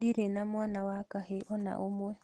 Ndirĩ na mwana wa kahĩĩ ona ũmwe